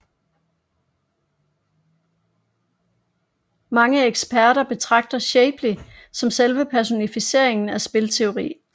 Mange eksperter betragter Shapley som selve personificeringen af spilteori